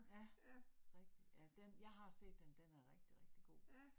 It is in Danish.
Ja, rigtigt, ja den, jeg har set den, den er rigtig rigtig god